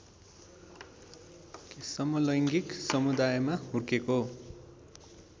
समलैङ्गिक समुदायमा हुर्केको